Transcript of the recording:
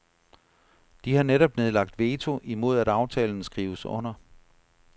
De har netop nedlagt veto imod at aftalen skrives under.